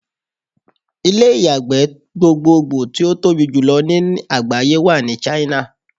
Ilé ìyàgbẹ́ gbogbogbò tí ó tobí jùlọ ní àgbáyé wà ní China.